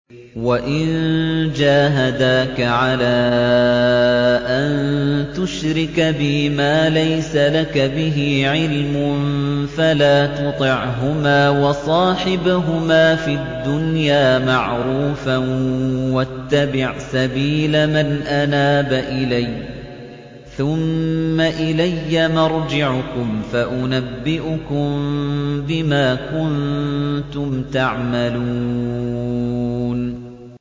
وَإِن جَاهَدَاكَ عَلَىٰ أَن تُشْرِكَ بِي مَا لَيْسَ لَكَ بِهِ عِلْمٌ فَلَا تُطِعْهُمَا ۖ وَصَاحِبْهُمَا فِي الدُّنْيَا مَعْرُوفًا ۖ وَاتَّبِعْ سَبِيلَ مَنْ أَنَابَ إِلَيَّ ۚ ثُمَّ إِلَيَّ مَرْجِعُكُمْ فَأُنَبِّئُكُم بِمَا كُنتُمْ تَعْمَلُونَ